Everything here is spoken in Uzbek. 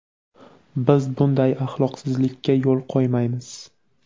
biz bunday axloqsizlika yo‘l qo‘ymaymiz.